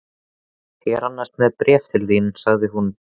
Ég er annars með bréf til þín sagði hún.